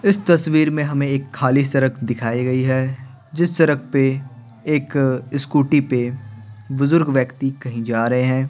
इस तस्वीर में हमें एक खाली सरक दिखाई गई है जिस सरक पे एक अ स्कूटी पे बुजुर्ग व्यक्ति कहीं जा रहे हैं।